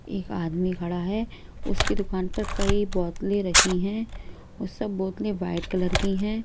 एक आदमी खड़ा है उसकी दुकान पर कई बोतलें रखी है वो सब बोतलें वाइट कलर की हैं।